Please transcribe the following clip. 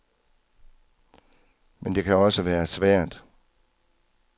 Men det kan også være svært.